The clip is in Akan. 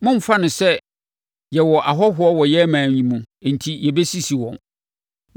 “ ‘Mommfa no sɛ yɛwɔ ahɔhoɔ wɔ yɛn ɔman yi mu enti yɛbɛsisi wɔn.